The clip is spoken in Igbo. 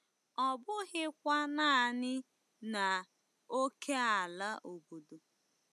Ọ bụghịkwa naanị n'ókèala obodo.